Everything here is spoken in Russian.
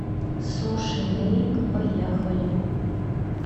суши мэйк поехали